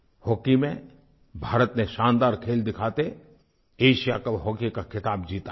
hockey में भारत ने शानदार खेल दिखाके एशिया कप हॉकी का ख़िताब जीता है